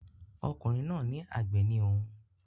Ọkùnrin náà ní àgbẹ̀ ni òun